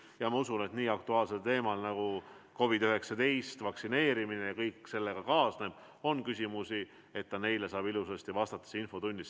Ja ma usun, et nii aktuaalsel teemal nagu COVID-19 vaktsineerimine ja kõik sellega kaasnev, küsimusi on, nii et ta saab neile ilusasti vastata infotunnis.